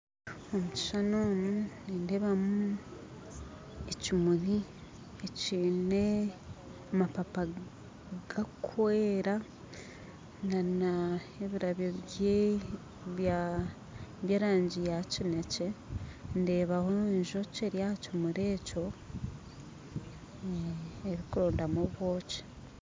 Omu kishuushani omu nindeebamu ekimuri ekyine amapaapa gakwera na n'ebirabyo by'erangi yakinekye ndeebaho enjoki eri aha kimuri ekyo erikurondamu obwooki